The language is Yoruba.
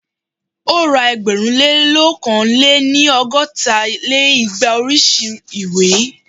ó ra ẹgbẹ̀rún lé ókàn lé-ní- ọgọ́ta lé igba oríṣi ìwé